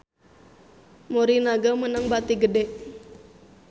Morinaga meunang bati gede